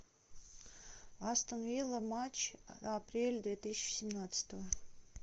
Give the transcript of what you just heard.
астон вилла матч апрель две тысячи семнадцатого